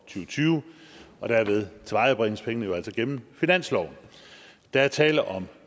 tyve og derved tilvejebringes pengene jo altså gennem finansloven der er tale om